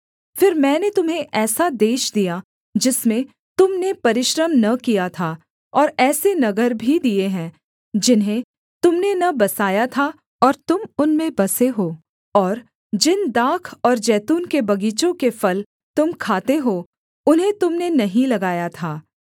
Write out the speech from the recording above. फिर मैंने तुम्हें ऐसा देश दिया जिसमें तुम ने परिश्रम न किया था और ऐसे नगर भी दिए हैं जिन्हें तुम ने न बसाया था और तुम उनमें बसे हो और जिन दाख और जैतून के बगीचों के फल तुम खाते हो उन्हें तुम ने नहीं लगाया था